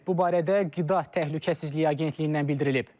Bu barədə Qida Təhlükəsizliyi Agentliyindən bildirilib.